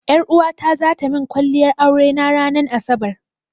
Ƴaruwata zata min kwalliyar aure na ranan asabar.